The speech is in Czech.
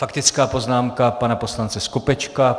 Faktická poznámka pana poslance Skopečka.